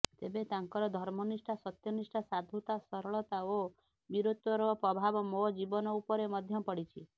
ତେବେ ତାଙ୍କର ଧର୍ମନିଷ୍ଠା ସତ୍ୟନିଷ୍ଠା ସାଧୁତା ସରଳତା ଓ ବୀରତ୍ୱର ପ୍ରଭାବ ମୋ ଜୀବନ ଉପରେ ମଧ୍ୟ ପଡ଼ିଛି